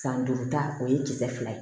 San duuru ta o ye kisɛ fila ye